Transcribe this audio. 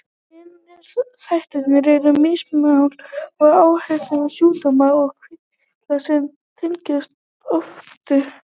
Hinir þættirnir eru mittismál og áhættuþættir sjúkdóma og kvilla sem tengjast offitu.